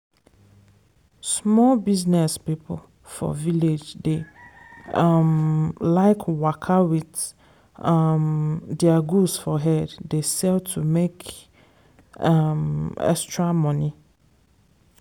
small business people for village dey um like waka wit um their goods for head dey sell to make um extra money.